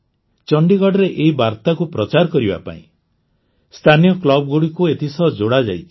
ଚଣ୍ଡିଗଡ଼ରେ ଏହି ବାର୍ତ୍ତାକୁ ପ୍ରଚାର କରିବା ପାଇଁ ସ୍ଥାନୀୟ କ୍ଲବ୍ଗୁଡ଼ିକୁ ଏଥିସହ ଯୋଡ଼ାଯାଇଛି